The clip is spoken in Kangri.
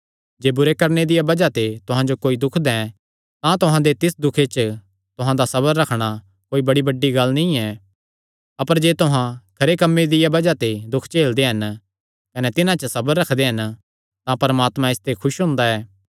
जे बुरा करणे दिया बज़ाह ते तुहां जो कोई दुख दैं तां तुहां दे तिस दुखे च तुहां दा सबर रखणा कोई बड़ी बड्डी गल्ल नीं ऐ अपर जे तुहां खरे कम्मां दिया बज़ाह ते दुख झेलदे हन कने तिन्हां च सबर रखदे हन तां परमात्मा इसते खुस हुंदा ऐ